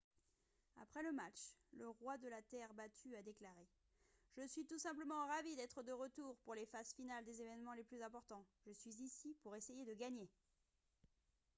après le match le roi de la terre battue a déclaré :« je suis tout simplement ravi d'être de retour pour les phases finales des événements les plus importants. je suis ici pour essayer de gagner »